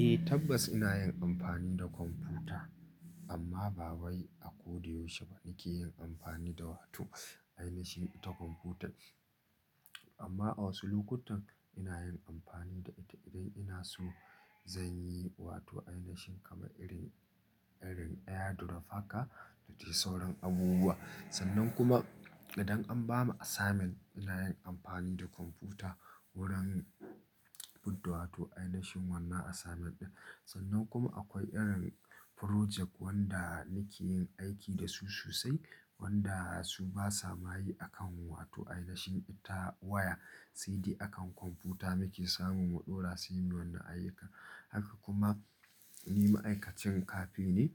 Eh tabbas ina yin amfani da kwamfuta amma ba wai a ko da yaushe ba nake yin amfani da wato, ainashi ta kwamfuta. Amma a wasu lokutan ina yin amfani da ita idan ina so zan yi wato ainashin kama irin, irin ɗaya da rafaka da ta yi sauran abubuwa. Sannan kuma idan an ba mu assignment ina yin amfani da kwamfuta wurin budda wato ainashin wannan assignment ɗin. Sannan kuma akwai irin project wanda nake yin aiki da su sosai wanda su ba sa maye a kan wato ainashin ita waya sai dai akan kwamfuta muke samun mu ɗora su yin wannan ayyuka. Haka kuma ni ma'aikacin cafe ne.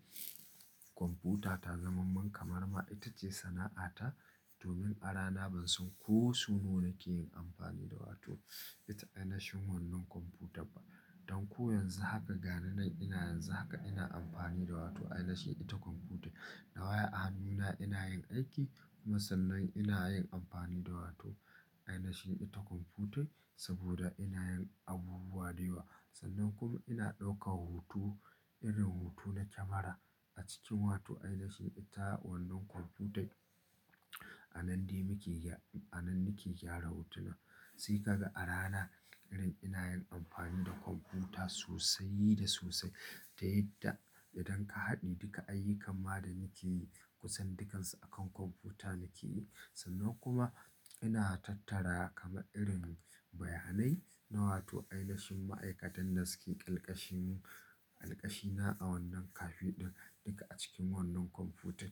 Kwamfuta ta zamamman kamar ma ita ce sana'ata domin a rana ban san ko sun nuna ke yin amfani da wato ita ainashin wannan kwamfutar ba. Don ko yanzu haka ga nan ina yanzu haka ina amfani da wato ainashi ita kwamfuta. Na waya a hannuna ina yin aiki kuma sannan ina yin amfani da wato ainashi ita kwamfuta saboda ina yin abubuwa da yawa. Sannan kuma ina ɗauka hutu irin hutu na kyamara a cikin wato ainashi ita wannan kwamfutan. A nan dai muke gyara, a nan nake gyara hotunan. Sai ka ga a rana irin ina yin amfani da kwamfuta sosai da sosai. Ta yadda, idan ka haɗi duka ayyukan ma da nake yi kusan dukansu akan kwamfuta nake yi. Sannan kuma ina tattara kama irin bayanai na wato ainashin ma'aikatan da suke alkashinmu, alkashina a wannan cafe ɗin duka a cikin wannan kwamfutan.